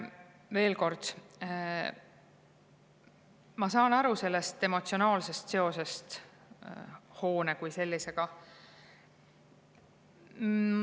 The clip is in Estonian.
Veel kord, ma saan aru sellest emotsionaalsest seosest hoone kui sellisega.